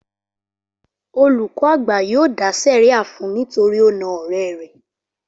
Olùkọ́ àgbà yóò dá sẹ̀ríà fun nítorí ó na ọ̀rẹ́ rẹ̀